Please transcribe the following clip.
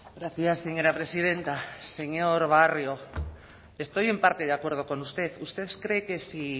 gracias señora presidenta señor barrio estoy en parte de acuerdo con usted usted cree que si